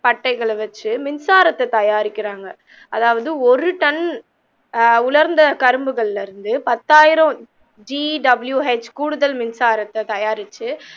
பட்டைகளை வெச்சு மின்சாரத்தை தயாரிக்கிறாங்க அதாவது ஒரு டன் ஆஹ் உலர்ந்த கரும்புகளில்ல இருந்து பத்தாயிரம் GWH கூடுதல் மின்சாரத்தை தயாரிச்சு